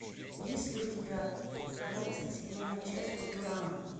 есть ли у тебя двадцать седьмая часть футурама